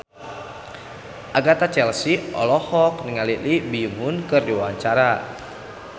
Agatha Chelsea olohok ningali Lee Byung Hun keur diwawancara